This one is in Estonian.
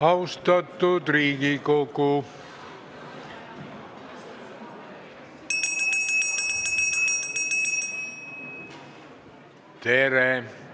Austatud Riigikogu, tere!